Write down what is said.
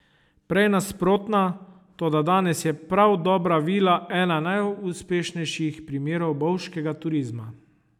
Prej nasprotna, toda danes je prav Dobra vila ena najuspešnejših primerov bovškega turizma.